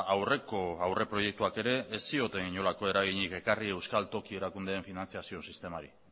aurreko aurreproiektuak ere ez zioten inolako eraginik ekarri euskal toki erakundeen finantziazio sistemari